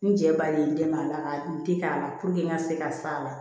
N cɛ ba de ye n dɛmɛ a la ka n den k'a la n ka se ka sa la